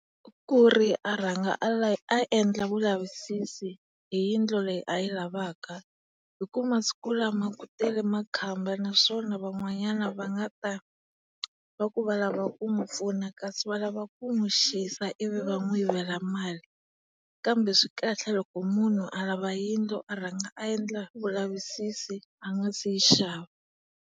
Kuri a rhanga a a endla vulavisisi hi yindlu leyi a yi lavaka hi ku masiku lama ku tele makhamba naswona van'wanyana va nga ta va ku va valava ku n'wi pfuna kasi va lava ku n'wi xisa ivi va n'wi yivela mali. Kambe swi kahle loko munhu a lava yindlu a rhanga endla vulavisisi a nga si yi xava.